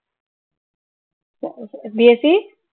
BSC